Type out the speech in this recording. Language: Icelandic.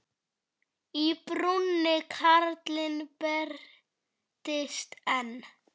Í brúnni karlinn birtist enn.